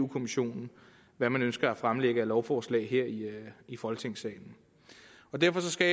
kommissionen hvad man ønsker at fremlægge af lovforslag her i folketingssalen derfor skal